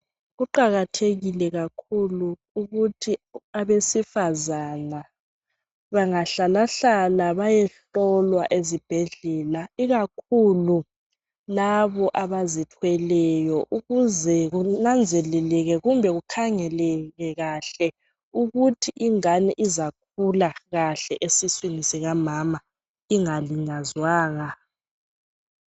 Kuqakathekile kakhulu ukuthi abesifazana bangahlalahlala bayehlolwa ezibhedlela, ikakhulu labo abazithweleyo ukuze kunanzeleleke kumbe kukhangeleke kahle ukuthi ingane izakhula kahle esiswini sikamama ingalinyazwanga.